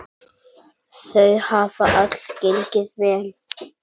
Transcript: Þau hafa öll gengið vel.